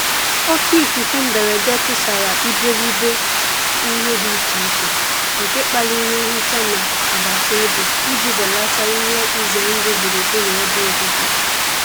Òkè ífúfé mbérédé túsàrá íbéríbé íhé dí íché íché, nké kpálirí nhíchá ná àgbátá òbí íjí bélátá íhé ízé ndụ́ gbúrú-gbúrú ébé òbíbí.